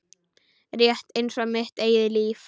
Rétt einsog mitt eigið líf.